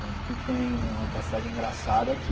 Tanto que tem uma passagem engraçada que...